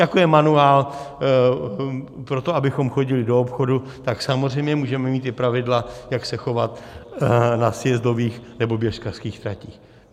Jako je manuál pro to, abychom chodili do obchodu, tak samozřejmě můžeme mít i pravidla, jak se chovat na sjezdových nebo běžkařských tratích.